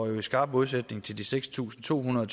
i skarp modsætning til de seks tusind to hundrede